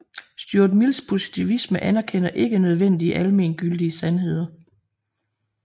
Stuart Mills positivisme anerkender ikke nødvendige almengyldige sandheder